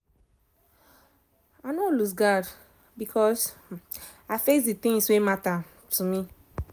i nor um lose guard becos i face d tins wen matter um to me um